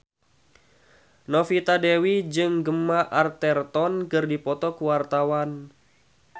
Novita Dewi jeung Gemma Arterton keur dipoto ku wartawan